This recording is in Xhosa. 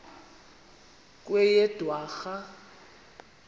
kweyedwarha